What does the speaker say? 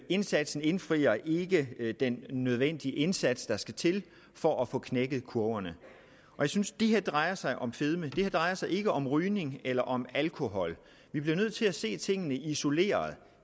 indsatsen indfrier ikke ikke den nødvendige indsats der skal til for at få knækket kurven det her drejer sig om fedme det drejer sig ikke om rygning eller om alkohol vi bliver nødt til at se tingene isoleret